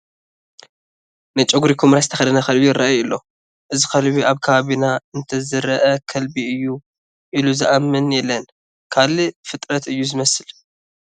ናይ ጨጉሪ ኩምራ ዝተኸደነ ከልቢ ይርአ ኣሎ፡፡ እዚ ከልቢ ኣብ ከባቢና እንተዝርአ ከልቢ እዩ ኢሉ ዝኣምን የለን ካልእ ፍጥረት እዩ ዝመስል፡፡